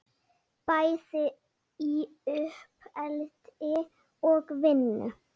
Bæði í uppeldi og vinnu.